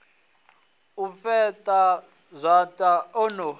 u fheṱa zwanḓa o no